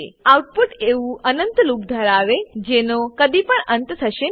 output એવું અનંત loop ધરાવે જેનો કદીપણ અંત થશે નહી